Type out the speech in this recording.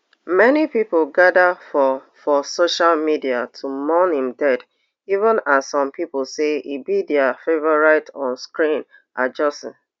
many pipo gada for for social media to mourn im death even as some pipo say e be dia favorite on screen adjussi